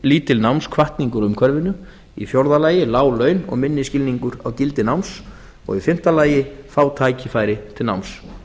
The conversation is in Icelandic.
lítil námshvatning úr umhverfinu í fjórða lagi lág laun og minni skilningur á gildi náms og í fimmta lagi fá tækifæri til náms